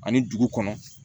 Ani dugu kɔnɔ